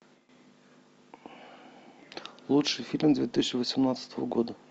лучший фильм две тысячи восемнадцатого года